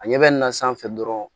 A ɲɛ bɛ na sanfɛ dɔrɔn